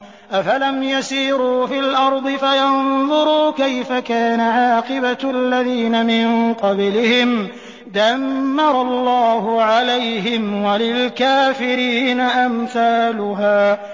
۞ أَفَلَمْ يَسِيرُوا فِي الْأَرْضِ فَيَنظُرُوا كَيْفَ كَانَ عَاقِبَةُ الَّذِينَ مِن قَبْلِهِمْ ۚ دَمَّرَ اللَّهُ عَلَيْهِمْ ۖ وَلِلْكَافِرِينَ أَمْثَالُهَا